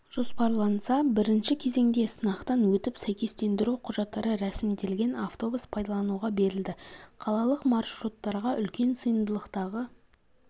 жоспарланса бірінші кезеңде сынақтан өтіп сәйкестендіру құжаттары рәсімделген автобус пайдалануға берілді қалалық маршруттарға үлкен сыйымдылықтағы